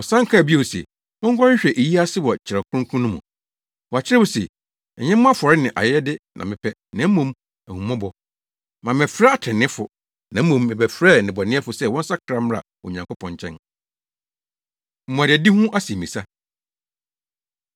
Ɔsan kaa bio se, “Monkɔhwehwɛ eyi ase wɔ Kyerɛw Kronkron no mu. Wɔakyerɛw se, ‘Ɛnyɛ mo afɔre ne ayɛyɛde na mepɛ, na mmom ahummɔbɔ.’ Mammɛfrɛ atreneefo, na mmom, mebɛfrɛɛ nnebɔneyɛfo sɛ wɔnsakra mmra Onyankopɔn nkyɛn.” Mmuadadi Ho Asɛmmisa